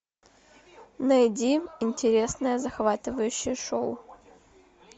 найди интересное захватывающее шоу